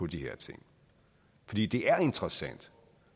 de her ting fordi det er interessant